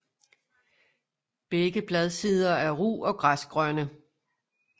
Begge bladsider er ru og græsgrønne